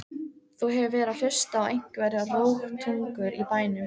Þú hefur verið að hlusta á einhverjar rógtungur í bænum!